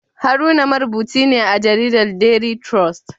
Haruna marubuci ne a jaridar Daily Trust